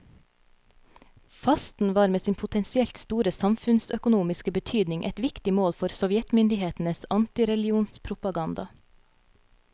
Fasten var med sin potensielt store samfunnsøkonomiske betydning et viktig mål for sovjetmyndighetenes antireligionspropaganda.